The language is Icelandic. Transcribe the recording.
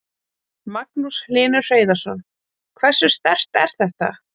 Magnús Hlynur Hreiðarsson: Hversu sterkt er þetta?